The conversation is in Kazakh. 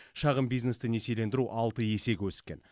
шағын бизнесті несиелендіру алты есеге өскен